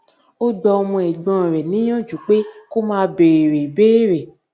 ó gba ọmọ ègbón rè níyànjú pé kó máa béèrè ìbéèrè